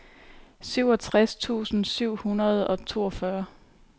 syvogtres tusind syv hundrede og toogfyrre